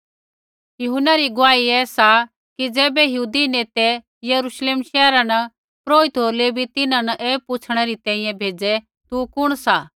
यूहन्ना री गुआही ऐ सा कि ज़ैबै यहूदी नेतै यरूश्लेम शैहरा न पुरोहित होर लेवी तिन्हां न ऐ पुछ़णै री तैंईंयैं भेज़ै तू कुण सा